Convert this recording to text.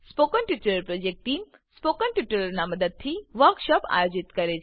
spoken tutorial project team spoken ટ્યુટોરીયલોનાં ઉપયોગથી વર્કશોપોનું આયોજન કરે છે